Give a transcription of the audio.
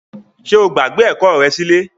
Ṣe o gbagbe ẹkọ rẹ silẹ?